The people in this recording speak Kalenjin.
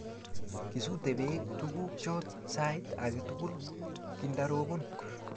Kisute pek tukuk chok sait ake tukul kindarobon